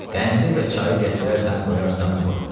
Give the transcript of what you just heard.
Qəndi və çayı gətirərsən, qoyarsan bura.